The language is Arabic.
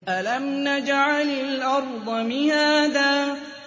أَلَمْ نَجْعَلِ الْأَرْضَ مِهَادًا